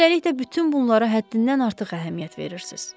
Üstəlik də bütün bunlara həddindən artıq əhəmiyyət verirsiz.